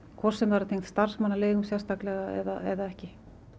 hvort sem það er tengt starfsmannaleigum eða ekki